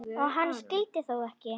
Hann skyldi þó ekki.